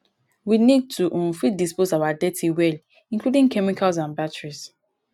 we need to um fit dispose our dirty well including chemicals and batteries